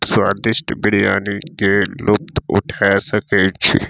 स्वादिष्ट बिरयानी के लुप्त उठा सकय छी।